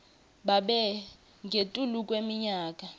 babe ngetulu kweminyaka